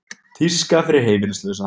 Tíska fyrir heimilislausa